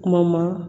Kuma ma